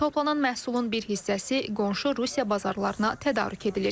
Toplanan məhsulun bir hissəsi qonşu Rusiya bazarlarına tədarük edilir.